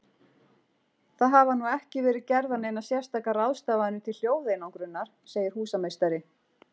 Það hafa nú ekki verið gerðar neinar sérstakar ráðstafanir til hljóðeinangrunar, segir húsameistari.